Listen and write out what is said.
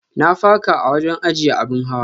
Na faka a wajen ajiyya abin hawa.